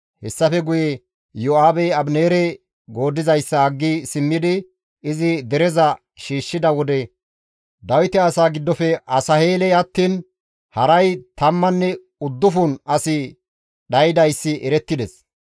Hessafe guye Iyo7aabey Abineere gooddizayssa aggi simmidi izi dereza shiishshida wode Dawite asaa giddofe Asaheeley attiin haray tammanne uddufun asi dhaydayssi erettides.